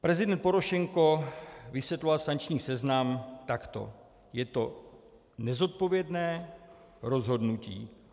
Prezident Porošenko vysvětloval sankční seznam takto: Je to nezodpovědné rozhodnutí.